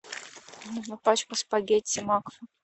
нужна пачка спагетти макфа